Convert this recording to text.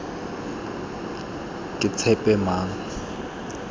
ketshepamang